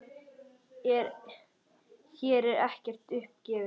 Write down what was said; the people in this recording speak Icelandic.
Hér er ekkert upp gefið.